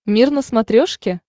мир на смотрешке